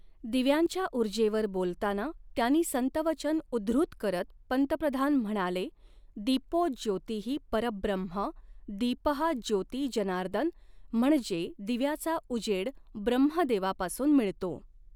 दिव्यांच्या उर्जेवर बोलताना त्यांनी संतवचन उद्धृत करत पंतप्रधान म्हणाले, दिपोज्योतिः परब्रह्म दिपःज्योती जनार्दन म्हणजे दिव्याचा उजेड ब्रह्मदेवापासून मिळतो.